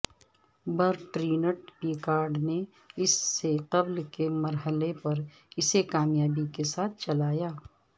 Bertrand Piccard نے اس سے قبل کے مرحلے پر اسے کامیابی کے ساتھ چلایا